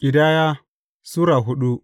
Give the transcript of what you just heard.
Ƙidaya Sura hudu